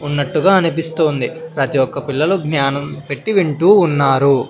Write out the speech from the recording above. ఉన్నట్టుగా అనిపిస్తూ ఉంది ప్రతి ఒక్క పిల్లలు జ్ఞానం పెట్టి వింటూ ఉన్నారు.